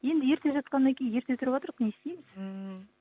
енді ерте жатқаннан кейін ерте тұрыватырқ не істейміз ммм